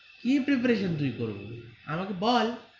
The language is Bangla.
কি preparation তুই করবি আমাকে বল.